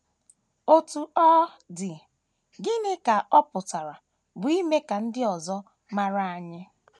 Otú ọ dị, gịnị ka ọ pụtara bụ́ ime ka ndị ọzọ mara anyị?